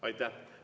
Aitäh!